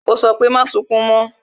Ó sọ pé "Má sunkún mo"